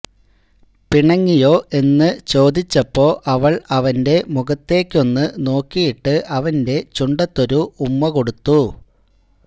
പിണങ്ങിയോ എന്ന് ചോദിച്ചപ്പൊ അവൾ അവന്റെ മുഖത്തേക്കൊന്ന് നോക്കിയിട്ട് അവന്റെ ചുണ്ടത്തൊരു ഉമ്മ കൊടുത്തു